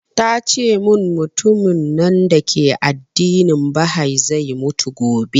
Tace mun mutumin nan dake addinin bahai zai mutu gobe